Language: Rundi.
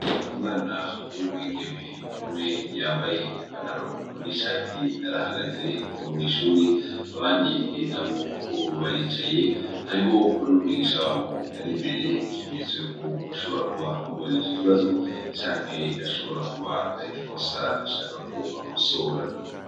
Umwana w' umwigeme umwe yambaye ipantaro n' ishati arahagaze mwishuri abandi nabo baricaye hariho n' umwigisha wabo ari imbere nk' ikimenyetso ko ashobora kuba amubajije ikibazo canke ari ikosa yoba ashaka kubakosora.